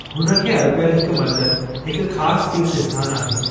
हुन खे अरिपणु कयलु हिकु मंदरु हिकु ख़ास तीर्थ आस्थानु आहे।